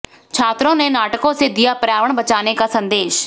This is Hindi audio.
छात्रों ने नाटकों से दिया पर्यावरण बचाने का संदेश